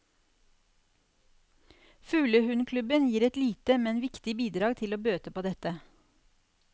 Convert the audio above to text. Fuglehundklubben gir et lite, men viktig bidrag til å bøte på dette.